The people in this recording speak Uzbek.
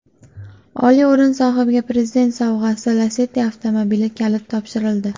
Oliy o‘rin sohibiga Prezident sovg‘asi Lacetti avtomobili kaliti topshirildi.